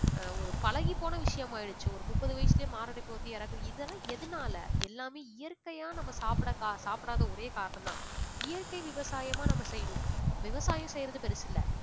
ஒரு பழகிப் போன விஷயம் ஆயிடுச்சு ஒரு முப்ப்து வயசிலே மாரடைப்பு வந்து இறக்கறது இதெல்லாம் எதனால எல்லாமே இயற்கையா நம்ம சாப்பிடக் கா~ சாப்பிடாத ஒரே காரணம் தான். இயற்கை விவசாயமா நம்ம செய்யணும் விவசாயம் செய்யறது பெருசில்ல